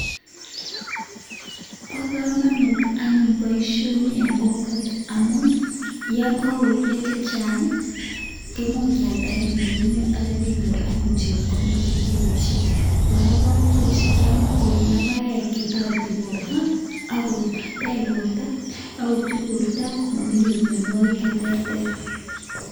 Bo komonut anyun boisioni en kokwet amun yo kagoruryo chechang kemuch kealda en ndonyo ak kityo kenyor anyun chepkondok che iboishen. Kora koimuch kyam ko logoek che toreti borto ak ko tech borto ak ko ti borto komokinyor mianwogik che terter.